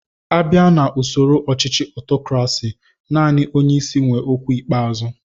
A bia na ụsoro ọchichi ọtọkrasi, naani onyeisi wé ókwú ikpeazụ